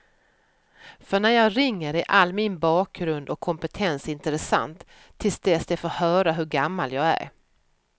För när jag ringer är all min bakgrund och kompetens intressant, till dess de får höra hur gammal jag är.